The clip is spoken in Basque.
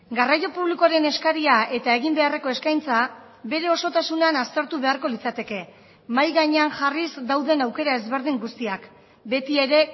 garraio publikoaren eskaria eta egin beharreko eskaintza bere osotasunean aztertu beharko litzateke mahai gainean jarriz dauden aukera ezberdin guztiak beti ere